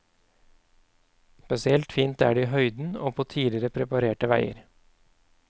Spesielt fint er det i høyden og på tidligere preparerte veier.